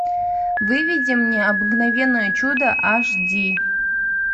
выведи мне обыкновенное чудо аш ди